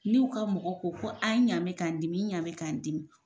N'u ka mɔgɔ ko, n ɲa mɛ k'a dimi, n ɲa mɛ k'an dimi